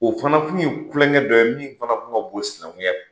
O fana kun ye kulonkɛ dɔ ye min fana kun ka bon ni sinankunya ye.